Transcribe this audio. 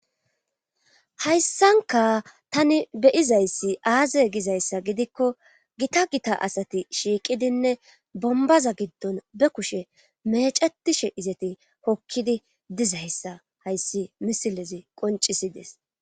hayssanka tani beyizayssi aaze gizayssa gidikko gita gita asati shiiqidinne bombaza giddon be kushe mecetishe izeti hokkidi dizayssa hayssi misilezi qoncisides